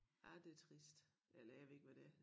Ja det trist eller jeg ved ikke hvad det er